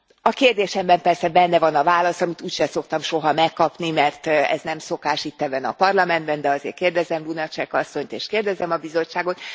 A kérdésemben persze benne van a válasz, amit úgysem szoktam soha megkapni, mert ez nem szokás itt, ebben a Parlamentben, de azért kérdezem Lunacek asszonyt, és kérdezem a Bizottságot.